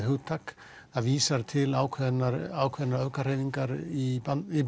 hugtak það vísar til ákveðinna ákveðinna öfgahreyfinga í